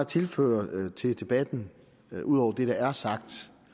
tilføre debatten ud over det der er sagt